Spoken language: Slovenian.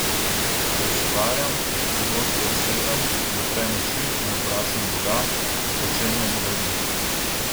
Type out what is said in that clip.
Ko ustvarjam, pogosto sedem, zaprem oči in vprašam boga, o čem naj govorim.